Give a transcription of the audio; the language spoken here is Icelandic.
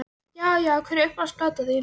Já Já Hver er uppáhalds platan þín?